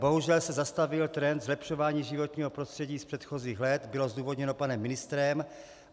Bohužel se zastavil trend zlepšování životního prostředí z předchozích let - bylo zdůvodněno panem ministrem.